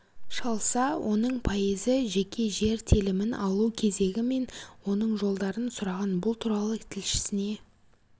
шалса оның пайызы жеке жер телімін алу кезегі мен оның жолдарын сұраған бұл туралы тілшісіне